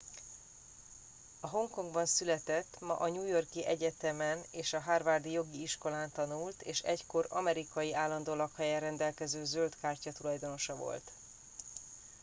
a hongkongban született ma a new york i egyetemen és a harvard i jogi iskolán tanult és egykor amerikai állandó lakóhellyel rendelkező zöld kártya tulajdonosa volt